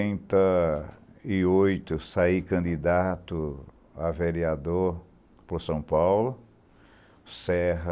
Em noventa e oito, eu saí candidato a vereador por São Paulo, Serra,